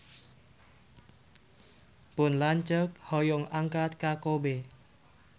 Pun lanceuk hoyong angkat ka Kobe